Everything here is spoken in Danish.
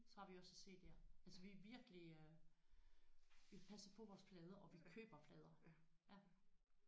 Så har vi også CD'er altså vi er virkelig øh vi passer på vores plader og vi køber plader ja